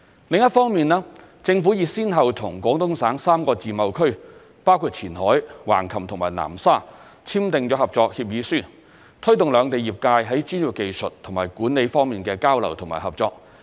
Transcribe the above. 另一方面，政府已先後與廣東省3個自貿區，包括前海、橫琴和南沙簽訂合作協議書，推動兩地業界在專業技術和管理方面的交流和合作。